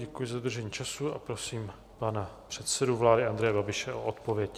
Děkuji za dodržení času a prosím pana předsedu vlády Andreje Babiše o odpověď.